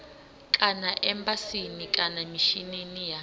kana embasini kana mishinini wa